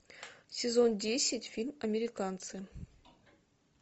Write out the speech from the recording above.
сезон десять фильм американцы